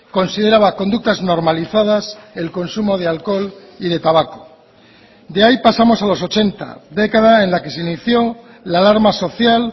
consideraba conductas normalizadas el consumo de alcohol y de tabaco de ahí pasamos a los ochenta década en la que se inició la alarma social